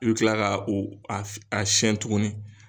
N mi kila ka o a siyɛn tuguni.